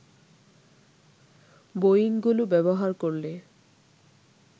বোয়িংগুলো ব্যবহার করলে